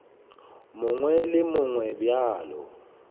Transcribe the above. mongwe le wo mongwe bjalo